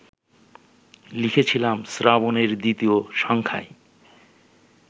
লিখেছিলাম শ্রাবণ-এর দ্বিতীয় সংখ্যায়